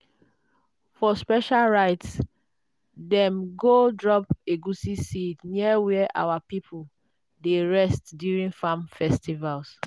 for special rites dem go drop egusi seed near where our people dey rest during farm festival.